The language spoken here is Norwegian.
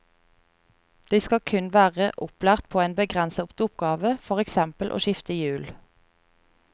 De skal kun være opplært på en begrenset oppgave, for eksempel å skifte hjul.